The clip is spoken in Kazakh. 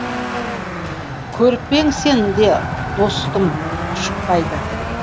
көріп пе ең сен де достым күшікбайды